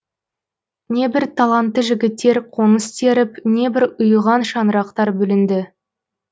небір талантты жігіттер қоңыз теріп небір ұйыған шаңырақтар бүлінді